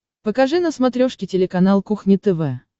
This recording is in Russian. покажи на смотрешке телеканал кухня тв